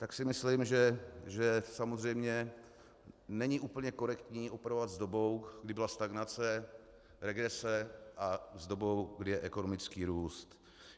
Tak si myslím, že samozřejmě není úplně korektní operovat s dobou, kdy byla stagnace, regrese, a s dobou, kdy je ekonomický růst.